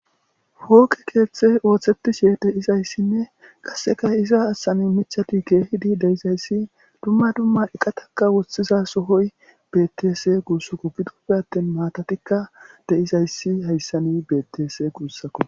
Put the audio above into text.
Pooqe keeththeti ooththetishe de'izayssinne qasseka iza achchan miththati keeidi de&izayssi dumma dumma eqatakka woththiza sohoy beettes guussikko. Gidippe attin maatattikka de'izayssa hayssan beettes guussiko.